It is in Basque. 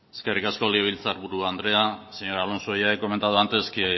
eskerrik asko legebiltzar buru andrea señor alonso ya he comentado antes que